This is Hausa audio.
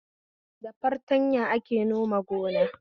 Da fartanya ake nome gona